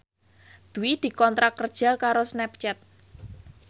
Dwi dikontrak kerja karo Snapchat